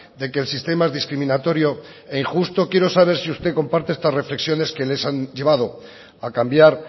de que el sistema es discriminatorio e injusto quiero saber si usted comparte estas reflexiones que les han llevado a cambiar